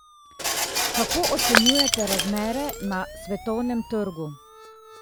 Kako ocenjujete razmere na svetovnem trgu?